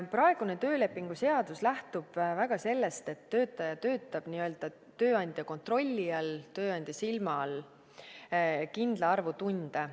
Praegune töölepingu seadus lähtub väga sellest, et töötaja töötab n-ö tööandja kontrolli all, tööandja silma all kindla arvu tunde.